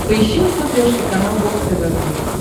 поищи на смотрешке канал бокс тв плюс